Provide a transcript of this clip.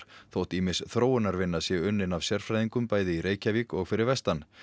þó ýmis þróunarvinna sé unnin af sérfræðingum bæði í Reykjavík og fyrir vestan